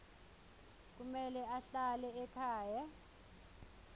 kumele ahlale ekhaya